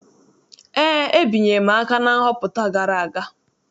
Eé, ebinyere m aka na nhọpụta gara aga.